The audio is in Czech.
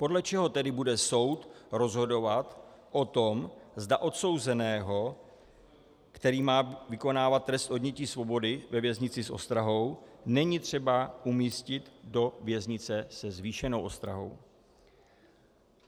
Podle čeho tedy bude soud rozhodovat o tom, zda odsouzeného, který má vykonávat trest odnětí svobody ve věznici s ostrahou, není třeba umístit do věznice se zvýšenou ostrahou?